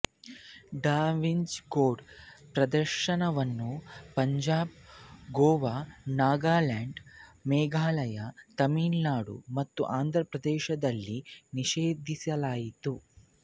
ಡ Vinci code ಪ್ರದರ್ಶನವನ್ನು ಪಂಜಾಬ್ ಗೋವಾನಾಗಾಲ್ಯಾಂಡ್ ಮೇಘಾಲಯತಮಿಳುನಾಡು ಮತ್ತು ಆಂಧ್ರಪ್ರದೇಶಗಳಲ್ಲಿ ನಿಷೇಧಿಸಲಾಯಿತು